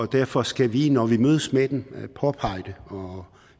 derfor skal vi når vi mødes med dem påpege det og